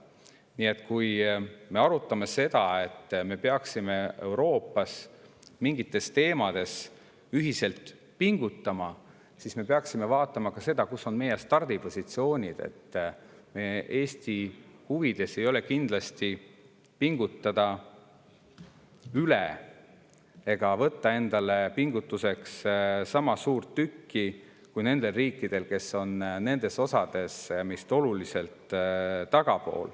Nii et kui me arutame seda, et me peaksime Euroopas mingites teemades ühiselt pingutama, siis me peaksime vaatama ka seda, mis on meie stardipositsioon, sest kindlasti ei ole Eesti huvides pingutada üle ja võtta endale sama suurt tükki kui need riigid, kes on mingis osas meist oluliselt tagapool.